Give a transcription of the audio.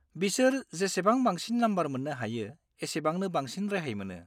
बिसोर जेसेबां बांसिन नम्बर मोननो हायो, एसेबांनो बांसिन रेहाय मोनो।